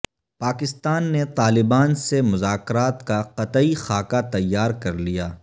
پاکستان نے طالبان سے مذاکرات کا قطعی خاکہ تیار کر لیا